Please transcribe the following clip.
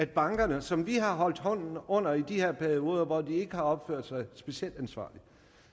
bankerne som vi har holdt hånden under i de her perioder hvor de ikke har opført sig specielt ansvarligt